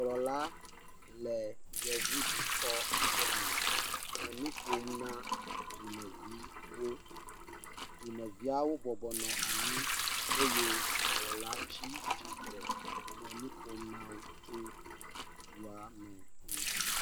Dukplɔla le yevu dukɔ aɖe me eye wole nu ƒom na dukɔmeviwo, dumeviwo nɔ anyi eye dukplɔla tsi tsitre le nu ƒom na wo le dua me ŋu.